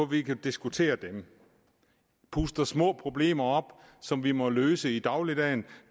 vi kan diskutere dem puster små problemer op som vi må løse i dagligdagen